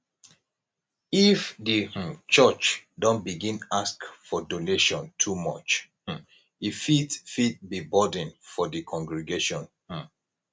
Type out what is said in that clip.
if di um church don begin ask for donation too much um e fit fit be burden for di congregation um